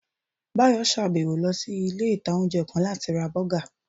Báyọ̀ sàbẹ̀wọ̀ lọ sí ilé-ìtánjẹ́ kan láti ra bọ́gà